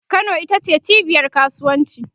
Kano ita ce cibiyar kasuwanci